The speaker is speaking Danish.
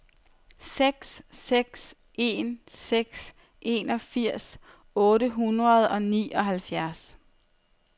seks seks en seks enogfirs otte hundrede og nioghalvfjerds